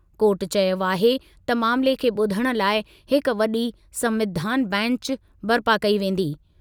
Court चयो आहे त मामिले खे ॿुधण लाइ हिकु वॾी संविधान बैंचु बरिपा कई वेंदी।